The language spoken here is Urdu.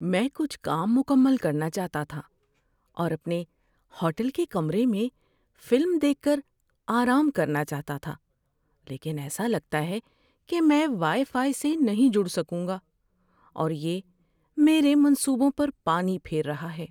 میں کچھ کام مکمل کرنا چاہتا تھا اور اپنے ہوٹل کے کمرے میں فلم دیکھ کر آرام کرنا چاہتا تھا، لیکن ایسا لگتا ہے کہ میں وائی فائی سے نہیں جڑ سکوں گا، اور یہ میرے منصوبوں پر پانی پھیر رہا ہے۔